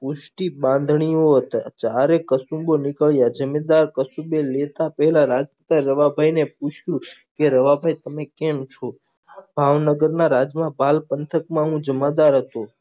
સૃષ્ટી બાંધણીયો હતા ચારે કુસુમ્બો નીકળ્યા લેતા પેલા રવાભઈ ને પૂછ્યું કે રવાભઈ તમે કેમ છો ભાવનગર ના રાજવા પાલ પંથક નો જમાદાર જ છું